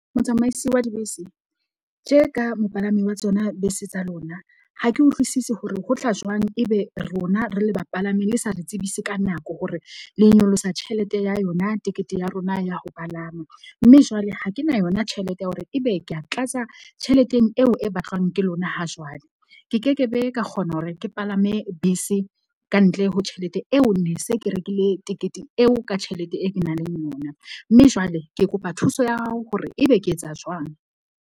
Motsamaisi wa dibese tje ka mopalami wa tsona bese tsa lona. Ha ke utlwisisi hore ho tla jwang ebe rona re le bapalami le sa re tsebise ka nako hore le nyolosa tjhelete ya yona tekete ya rona ya ho palama. Mme jwale ha ke na yona tjhelete ya hore ebe ke a tlatsa tjheleteng eo e batlwang ke lona ha jwale. Ke kekebe ka kgona hore ke palame bese. Ka ntle ho tjhelete eo, ne se ke rekile tekete eo ka tjhelete e ke naleng yona. Mme jwale ke kopa thuso ya hao hore ebe ke etsa jwang.